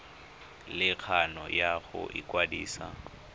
le kgano ya go ikwadisa